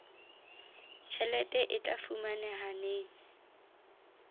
tjhelete e tla fumaneha neng